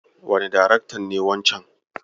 Wane daraktan ne wancen?